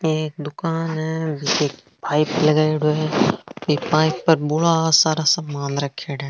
एक दुकान है जिसे पाइप लागेडो है एक पाइप पर बोला सारा सामान राखेडा है।